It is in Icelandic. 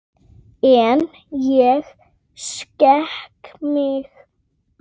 En ég skek mig.